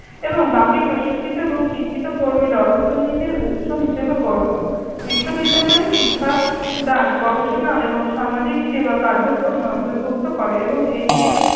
এবং বাকি প্রশিক্ষিত এবং শিক্ষিত কর্মীরা অর্থনীতির উৎস হিসেবে গন্য। বিশ্ববিদ্যালয়ের শিক্ষাদান গবেষণা এবং সামাজিক সেবা কার্যক্রমে অন্তর্ভুক্ত করে এবং এটি একটি